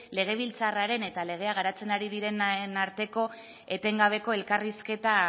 legebiltzarraren eta legea garatzen ari direnaren arteko etengabeko elkarrizketa